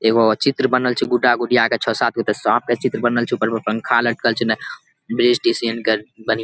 एगो चित्र बनल छे गुड्डा गुड़िया के छौ सात गो त साँप के चित्र बनल छे ऊपर पे पंखा लटकल छे ना बिस तिसियन के बनी --